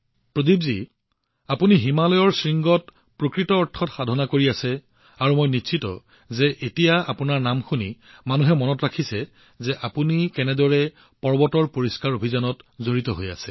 প্ৰদীপজী আপুনি হিমালয়ৰ শৃংগত প্ৰকৃত অৰ্থত সাধনা কৰি আছে আৰু মই নিশ্চিত যে এতিয়া আপোনাৰ নাম শুনি মানুহে মনত ৰাখিছে যে আপুনি কেনেদৰে পৰ্বতৰ পৰিষ্কাৰপৰিচ্ছন্নতা অভিযানত জড়িত হৈ আছে